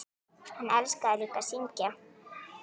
Hann elskaði líka að syngja.